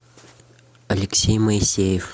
алексей моисеев